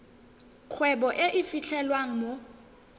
kgwebo e e fitlhelwang mo